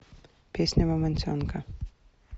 песня мамонтенка